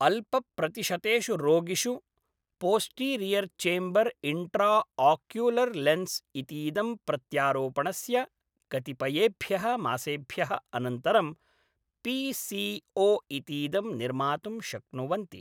अल्पप्रतिशतेषु रोगिषु posterior chamber intraocular lens इतीदं प्रत्यारोपणस्य कतिपयेभ्यः मासेभ्यः अनन्तरं पी सी ओ इतीदं निर्मातुं शक्नुवन्ति।